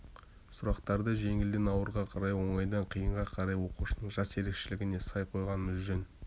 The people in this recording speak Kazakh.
сұрақтарды жеңілден ауырға қарай оңайдан қиынға қарай оқушының жас ерекшелігіне сай қойғанымыз жөн